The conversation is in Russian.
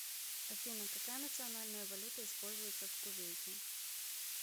афина какая национальная валюта используется в кувейте